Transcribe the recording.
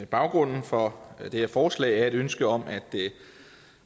baggrunden for det her forslag er et ønske om at